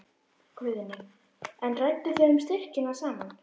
Guðný: En rædduð þið um styrkina saman?